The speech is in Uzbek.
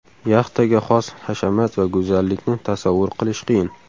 Yaxtaga xos hashamat va go‘zallikni tasavvur qilish qiyin.